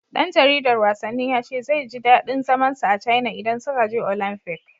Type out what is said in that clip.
Ɗan jaridar wasannin ya ce zai ji daɗin zaman sa a Caina idan suka je Olamfik.